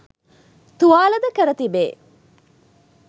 තුවාල ද කර තිබේ